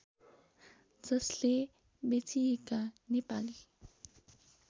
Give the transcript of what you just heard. जसले बेचिएका नेपाली